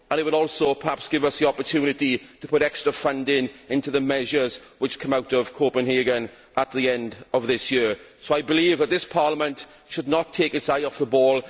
It will also, perhaps, give us the opportunity to put extra funding into the measures which come out of Copenhagen at the end of this year. I believe that this Parliament should not take its eye off the ball.